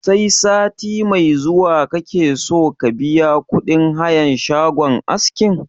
Sai sati mai zuwa kake so ka biya kuɗin hayan shagon askin?